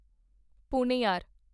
Ponnaiyar